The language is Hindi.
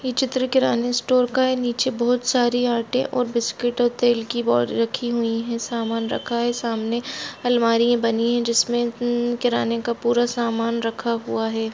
ये चित्र किराने स्टोर का है नीचे बहुत सारी आटे और बिस्किट और तेल की बोरी रखी हुई हैं सामान रखा है सामने अलमारियां बनी हैं जिसमे म किराने का पुरा सामान रखा हुआ है।